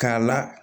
K'a la